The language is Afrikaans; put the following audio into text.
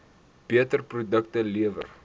beter produkte lewer